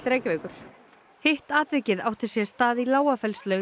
Reykjavíkur hitt atvikið átti sér stað í